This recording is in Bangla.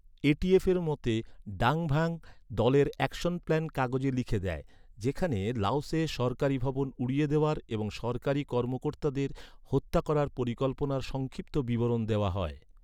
এ.টি.এফের মতে, ডাং ভ্যাং, দলের ‘অ্যাকশন প্ল্যান’ কাগজে লিখে দেয়, যেখানে লাওসে সরকারী ভবন উড়িয়ে দেওয়ার এবং সরকারী কর্মকর্তাদের হত্যা করার পরিকল্পনার সংক্ষিপ্ত বিবরণ দেওয়া হয়।